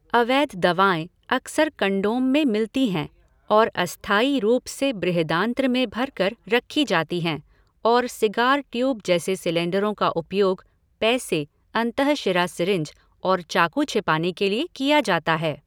अवैध दवाएँ अक्सर कंडोम में मिलती हैं और अस्थायी रूप से बृहदान्त्र में भर कर रखी जाती हैं, और सिगार ट्यूब जैसे सिलेंडरों का उपयोग पैसे, अंतःशिरा सीरिंज और चाकू छिपाने के लिए किया जाता है।